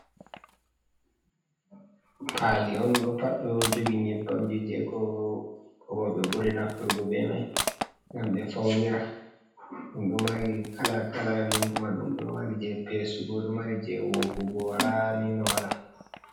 Paali on ɗo paɗɗo jogi nyebbam ji je ko roɓe buri nafturgo be mai ngam be faunira, ɗum ɗo mari kala kala nonde majum ɗo mari je pesugo, ɗo mari je woggugo wala ni no wala.